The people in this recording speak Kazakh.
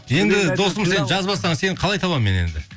енді досым сен жазбасаң сені қалай табамын мен еді